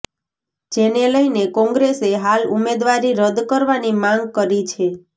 જેને લઈને કોંગ્રેસે હાલ ઉમેદવારી રદ કરવાની માગ કરી છે